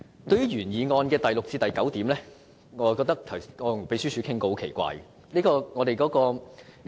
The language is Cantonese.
對於原議案第六至九點，我曾與秘書處討論，其內容是很奇怪的。